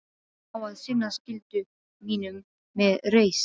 Á að sinna skyldu mínum með reisn.